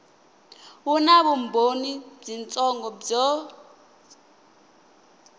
wu na vumbhoni byitsongo byo